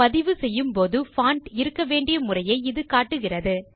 பதிவுசெய்யும்போது போது பான்ட் இருக்கவேண்டிய முறையை இது காட்டுகிறது